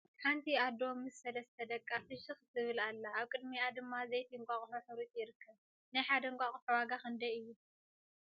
ሓንቲ ኣዶ ምስ ሰለስተ ደቃ ፍሽክ ትብል ኣላ ኣብ ቅድሚአ ድማ ዘይቲ እንቃቅሖ ሕሩጭ ይርከብ ። ናይ ሓደ እንቃቅሖ ዋጋ ክንደይ እዩ ?